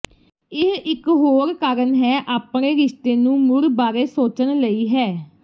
ਇਹ ਇੱਕ ਹੋਰ ਕਾਰਨ ਹੈ ਆਪਣੇ ਰਿਸ਼ਤੇ ਨੂੰ ਮੁੜ ਬਾਰੇ ਸੋਚਣ ਲਈ ਹੈ